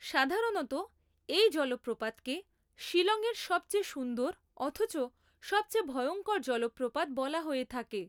সাধারণত এই জলপ্রপাতকে শিলংয়ের সবচেয়ে সুন্দর অথচ সবচেয়ে ভয়ঙ্কর জলপ্রপাত বলা হয়ে থাকে।